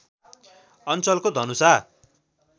अञ्चलको धनुषा